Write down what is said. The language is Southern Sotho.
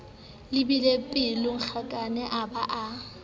le beile pelonghakana a ba